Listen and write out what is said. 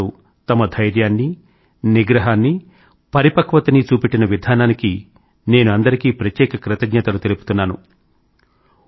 ప్రజలందరూ తమ ధైర్యాన్నీ నిగ్రహాన్నీ పరిపక్వతనీ చూపెట్టిన విధానానికి నేను అందరికీ ప్రత్యేక కృతజ్ఞతలను తెలుపుతున్నాను